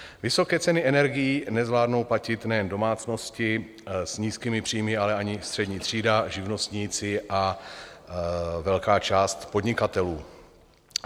Vysoké ceny energií nezvládnou platit nejen domácnosti s nízkými příjmy, ale ani střední třída, živnostníci a velká část podnikatelů.